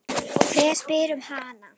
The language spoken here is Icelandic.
Hver spyr um hana?